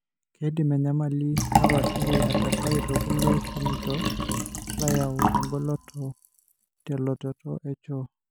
keidim enyamali napashari atasayu tokulie shanitok loyau engoloto teletoto echoo.